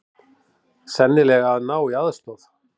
Sennilega að ná í aðstoð.